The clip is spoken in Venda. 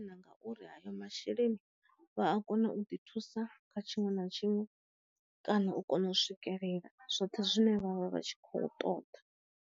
Ngauri ayo masheleni vha a kona u ḓi thusa kha tshiṅwe na tshiṅwe kana u kona u swikelela zwoṱhe zwine vha vha vha tshi khou ṱoḓa.